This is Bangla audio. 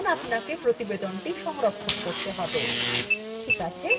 এখন আপনাকে প্রতিবেদনটি সংরক্ষণ করতে save